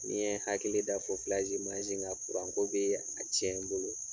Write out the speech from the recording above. Ni n ye hakili da mansin kan kuranko bɛ a tiɲɛ n bolo